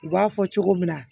U b'a fɔ cogo min na